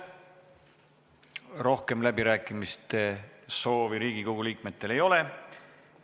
Rohkem läbirääkimiste soovi Riigikogu liikmetel ei ole.